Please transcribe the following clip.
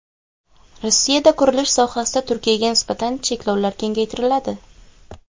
Rossiyada qurilish sohasida Turkiyaga nisbatan cheklovlar kengaytiriladi.